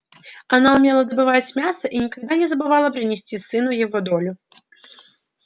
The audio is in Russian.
она умела добывать мясо и никогда не забывала принести сыну его долю